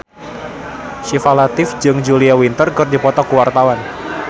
Syifa Latief jeung Julia Winter keur dipoto ku wartawan